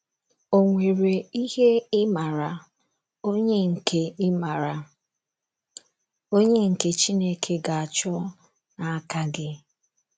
Ò nwere ihe ịmara onye nke ịmara onye nke Chineke ga - achọ n’aka gị?